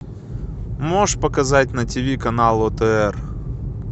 можешь показать на тв канал отр